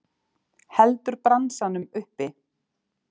Heldur bransanum uppi.